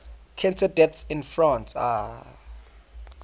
cancer deaths in france